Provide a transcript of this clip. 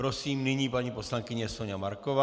Prosím, nyní paní poslankyně Soňa Marková.